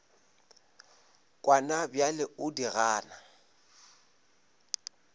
kwana bjale o di gana